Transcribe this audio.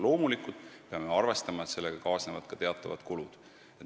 Loomulikult peame arvestama, et selliste muudatustega kaasnevad teatavad kulud.